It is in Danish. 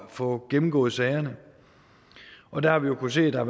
få gennemgået sagerne og der har vi jo kunnet se at der